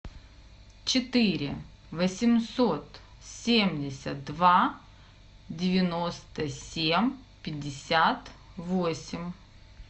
четыре восемьсот семьдесят два девяносто семь пятьдесят восемь